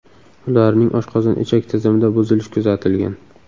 Ularning oshqozon-ichak tizimida buzilish kuzatilgan.